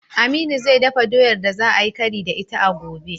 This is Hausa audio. Aminu zai dafa doyar da za ayi kari da ita a gobe.